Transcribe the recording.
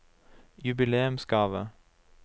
jubileumsgave